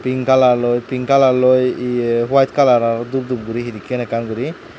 pin kalar loi pin kalar loi eya white kalar aro dup dup guri henekay ekkan gori.